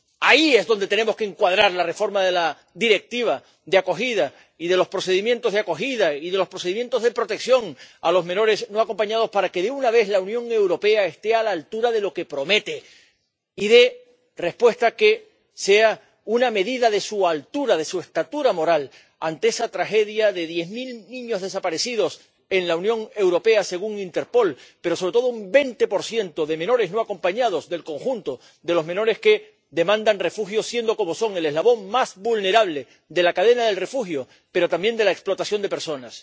ahí es donde tenemos que encuadrar la reforma de la Directiva de acogida y de los procedimientos de acogida y de los procedimientos de protección a los menores no acompañados para que, de una vez, la Unión Europea esté a la altura de lo que promete y dé una respuesta que sea una medida de su altura, de su estatura moral ante esa tragedia de diez mil niños desaparecidos en la Unión Europea —según Interpol— pero, sobre todo, de un 20 de menores no acompañados, del conjunto de los menores que demandan refugio, siendo como son el eslabón más vulnerable de la cadena del refugio, pero también de la explotación de personas.